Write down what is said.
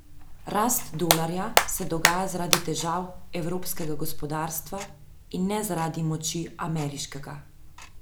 Rast dolarja se dogaja zaradi težav evropskega gospodarstva in ne zaradi moči ameriškega.